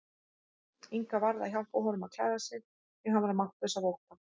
Inga varð að hjálpa honum að klæða sig því hann var máttlaus af ótta.